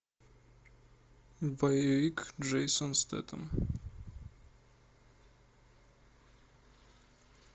боевик джейсон стейтем